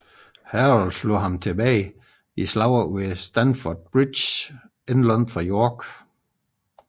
Harold slog ham tilbage i slaget ved Stamford Bridge ikke langt fra York